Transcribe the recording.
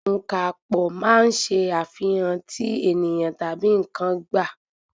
Ọ̀ǹkàpò máa ń ṣe àfihàn tí ènìyàn tabi n̄ǹkan gba.